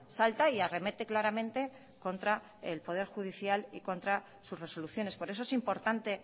salta y arremete claramente contra el poder judicial y contra sus resoluciones por eso es importante